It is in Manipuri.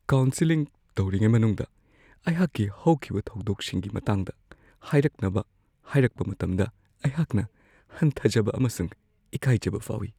ꯀꯥꯎꯟꯁꯦꯂꯤꯡ ꯇꯧꯔꯤꯉꯩ ꯃꯅꯨꯡꯗ ꯑꯩꯍꯥꯛꯀꯤ ꯍꯧꯈꯤꯕ ꯊꯧꯗꯣꯛꯁꯤꯡꯒꯤ ꯃꯇꯥꯡꯗ ꯍꯥꯢꯔꯛꯅꯕ ꯍꯥꯏꯔꯛꯄ ꯃꯇꯝꯗ ꯑꯩꯍꯥꯛꯅ ꯍꯟꯊꯖꯕ ꯑꯃꯁꯨꯡ ꯏꯀꯥꯏꯖꯕ ꯐꯥꯎꯋꯤ ꯫